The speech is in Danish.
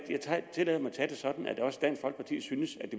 tillader mig at tage det sådan at også dansk folkeparti synes det